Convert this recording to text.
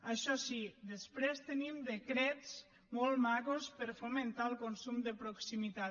això sí després tenim decrets molt macos per fomentar el consum de proximitat